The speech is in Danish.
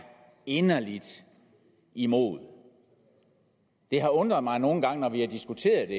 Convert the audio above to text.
inderlig imod det har undret mig nogle gange når vi har diskuteret